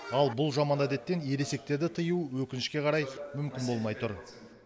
ал бұл жаман әдеттен ересектерді тыю өкінішке қарай мүмкін болмай тұр